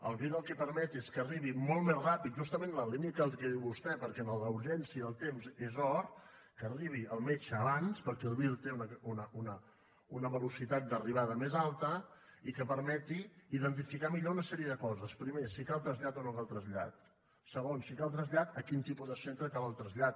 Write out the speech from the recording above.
el vir el que permet és que arribi molt més ràpid justament en la línia del que diu vostè perquè en la urgència el temps és or que arribi el metge abans perquè el vir té una velocitat d’arribada més alta i que permeti identificar millor una sèrie de coses primer si cal trasllat o no cal trasllat segon si cal trasllat a quin tipus de centre cal el trasllat